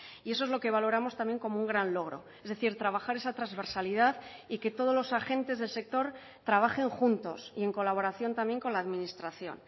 y eso es lo que valoramos también como un gran logro es decir trabajar esa transversalidad y que todos los agentes del sector trabajen juntos y en colaboración también con la administración